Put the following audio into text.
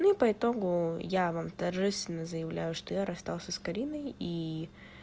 ну и по итогу я вам торжественно заявляю что я расстался с кариной и